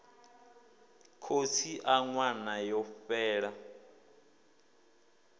khotsi a ṅwana yo fhela